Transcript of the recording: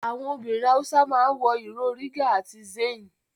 Àwọn obìnrin Hausa ma ń wọ ìró Riga àti Zanne